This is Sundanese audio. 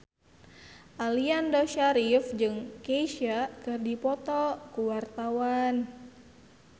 Aliando Syarif jeung Kesha keur dipoto ku wartawan